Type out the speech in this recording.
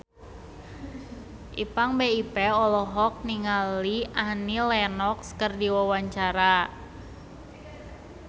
Ipank BIP olohok ningali Annie Lenox keur diwawancara